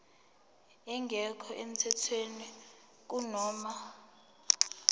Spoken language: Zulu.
engekho emthethweni kunoma